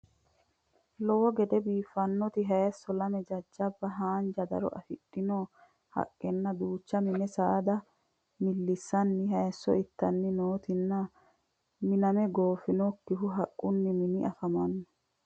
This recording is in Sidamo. Lowo gede biiffannota hayisso, lame jajjaba haanja daro afidhino haqqenna duucha mini saada millissanni hayisso ittanni nootanna miname goofinokkiha haqqunni mini afamanno